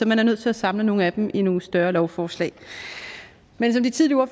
man er nødt til at samle nogle af dem i nogle større lovforslag men som de tidligere